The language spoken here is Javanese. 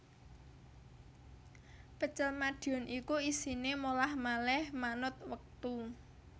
Pecel Madiun iku isine molah malih manut wektu